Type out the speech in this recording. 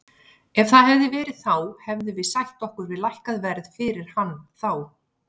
Ef það hefði verið þá hefðum við sætt okkur við lækkað verð fyrir hann þá.